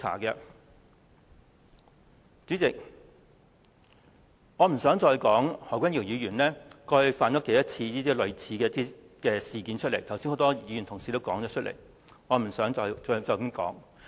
代理主席，我不想再說何君堯議員過去多少次犯上類似的錯誤，剛才有很多議員同事已提及，我不想重複。